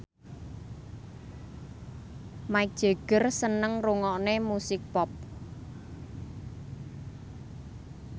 Mick Jagger seneng ngrungokne musik pop